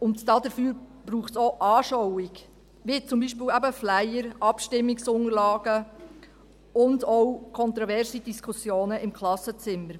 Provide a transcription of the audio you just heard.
Und dafür braucht es auch Anschauung, wie zum Beispiel eben Flyer und Abstimmungsunterlagen, und auch kontroverse Diskussionen im Klassenzimmer.